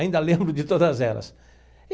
Ainda lembro de todas elas.